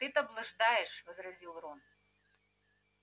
ты-то блуждаешь возразил рон